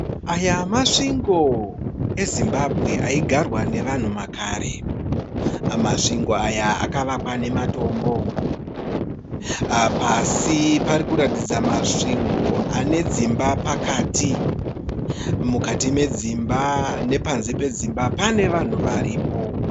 Aya masvingo eZimbabwe aigarwa navanhu makare. Masvingo Aya akavakwa nematombo. Pasi parikuratidza Masvingo ane dzimba pakati. Mukati medzimba nepanze pedzimba pane vanhu varipo.